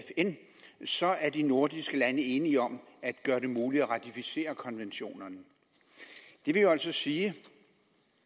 fn så er de nordiske lande enige om at gøre det muligt at ratificere konventionen det vil altså sige